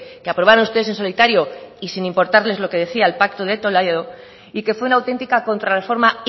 que aprobaron usted en solitario y sin importarles lo que decía el pacto de toledo y que fue una autentica contrarreforma